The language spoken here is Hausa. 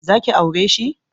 Za ki aure shi?